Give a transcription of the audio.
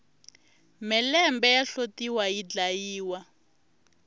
mhelembe ya hlotiwa yi dlayiwa